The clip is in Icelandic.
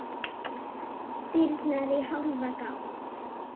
Dyrnar í hálfa gátt.